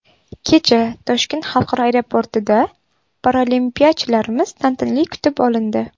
Kecha Toshkent xalqaro aeroportida paralimpiyachilarimiz tantanali kutib olindi.